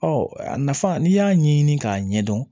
Ɔ a nafa n'i y'a ɲɛɲini k'a ɲɛdɔn